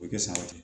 O tɛ san wɛrɛ